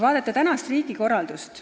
Vaatame tänast riigikorraldust.